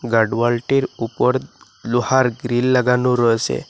গার্ডওয়ালটির ওপর লোহার গ্রিল লাগানো রয়েসে।